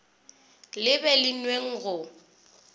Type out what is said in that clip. le be le nweng go